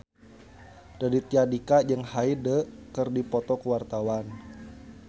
Raditya Dika jeung Hyde keur dipoto ku wartawan